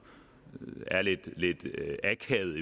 lidt akavet